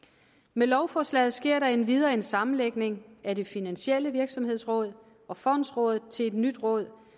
med lovforslaget sker der endvidere en sammenlægning af det finansielle virksomhedsråd og fondsrådet til et nyt råd